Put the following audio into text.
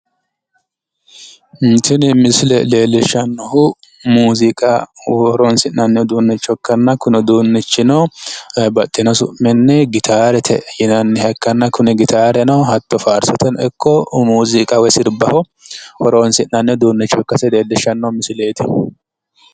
Tini misile leellishshannohu muuziqaho horonsi'nanni uduunnicho ikkanna, kuni uduunnichino baxxino su'minni gitaarete yinanniha ikkanna, kuni gitaareno hatto faarsototeno ikko muuziiqa sirbaho horonsi'nanni uduunnicho ikkasi leellisshanno misileeti.